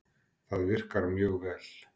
Það virkar mjög vel.